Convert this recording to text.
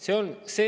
See on see.